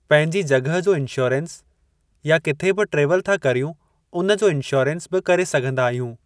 पंहिंजी जॻहि जो इंशोरन्स या किथे बि ट्रेवल था करियूं उन जो इंशोरन्स बि करे सघिंदा आहियूं।